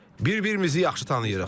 Bir-birimizi yaxşı tanıyırıq.